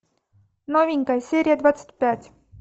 новенькая серия двадцать пять